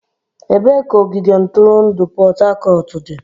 Ebee ka ogige ntụrụndụ Port Harcourt dị?